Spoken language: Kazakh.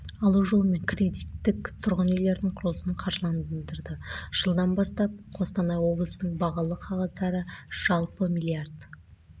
алу жолымен кредиттік тұрғын үйлердің құрылысын қаржыландырады жылдан бастап қостанай облысының бағалы қағаздары жалпы миллиард